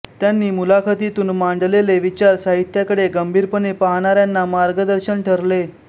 त्यांनी मुलाखतीतून मांडलेले विचार साहित्याकडे गंभीरपणे पाहणाऱ्यांना मार्गदर्शन ठरले